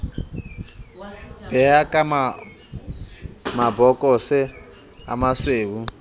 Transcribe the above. be ka mabokose a masweu